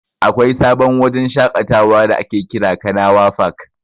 Akwai sabon wajen shaƙatawa da ake kira "Kanawa fak".